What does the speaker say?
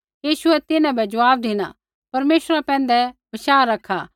यीशुऐ तिन्हां बै ज़वाब धिना परमेश्वरा पैंधै भरोसा रखा